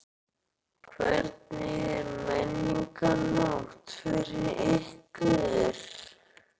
Hvernig er Menningarnótt fyrir ykkur?